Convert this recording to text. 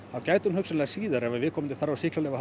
þá gæti hún hugsanlega síðar ef við komandi þarf á sýklalyfjum